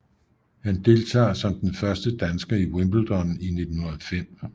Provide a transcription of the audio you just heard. Han deltager som den første dansker i Wimbledon i 1905